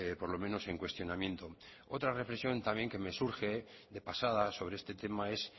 por lo menos en cuestionamiento otra reflexión también que me surge de pasada sobre este tema es